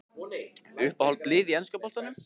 Uppáhald lið í enska boltanum?